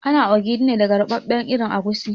Ana ogiri ne daga ruɓaɓɓen irin agushi